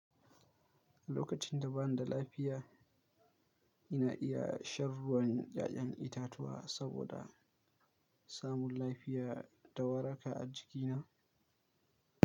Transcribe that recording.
Lokacin da ba ni da lafiya, ina iya shan ruwan ƴaƴan itatuwa saboda samun lafiya da waraka a jikina.